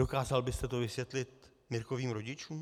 Dokázal byste to vysvětlit Mirkovým rodičům?